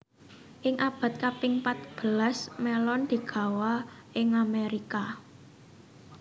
Ing abad kaping patbelas melon digawa ing Amerika